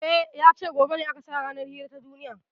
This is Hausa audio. E, ya ce gobe ne aka sa ranar hira ta duniya.